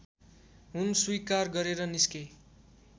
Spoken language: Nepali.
हुन स्विकार गरेर निस्के